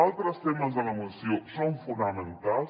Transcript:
altres temes de la moció són fonamentals